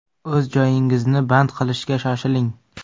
O‘z joyingizni band qilishga shoshiling!